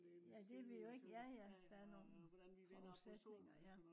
ja det vi jo ikke. ja ja der er nogle forudsætninger